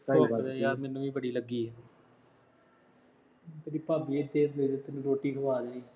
ਭੁੱਖ ਤਾਂ ਯਾਰ ਮੈਨੂੰ ਵੀ ਬੜੀ ਲੱਗੀ ਹੈ